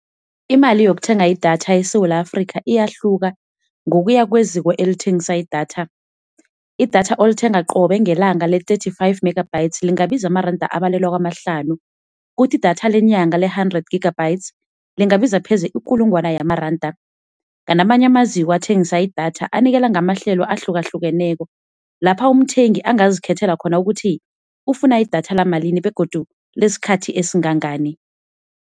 Imali yokuthenga idatha eSewula Afrika ayahluka ngokuya kweziko elithengisa idatha. Idatha olithenga qobe ngelanga le-thirty-five megabytes lingabiza amaranda abalelwa kwamahlanu, kuthi idatha lenyanga i-hundred gigabytes lingabiza pheze ikulungwana yamaranda. Kanti amanye amaziko athengisa idatha anikela ngamahlelo ahlukahlukeneko lapha umthengi angazikhethela khona ukuthi ufuna idatha lamalini begodu isikhathi esingangani.